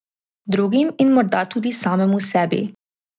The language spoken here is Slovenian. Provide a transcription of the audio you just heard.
Drugim in morda tudi samemu sebi.